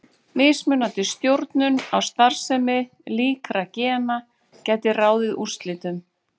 Mismunandi stjórnun á starfsemi líkra gena gæti ráðið úrslitum.